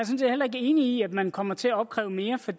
set heller ikke enig i at man kommer til at opkræve mere for